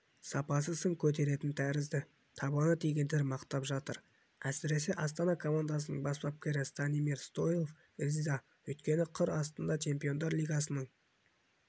сапасы сын көтеретін тәрізді табаны тигендер мақтап жатыр әсіресе астана командасының бас бапкері станимир стойлов риза өйткені қыр астында чемпиондар лигасының